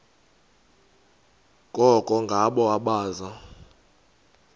koko ngabo abaza